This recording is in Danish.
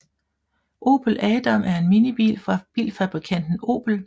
Opel Adam er en minibil fra bilfabrikanten Opel